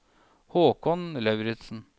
Haakon Lauritsen